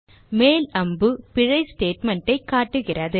மேல் அம்பு பிழை statement ஐக் காட்டுகிறது